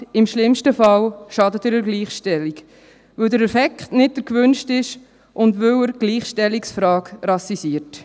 Im schlimmsten Fall schadet er der Gleichstellung, weil der Effekt nicht der gewünschte ist und weil er die Gleichstellungsfrage rassisiert.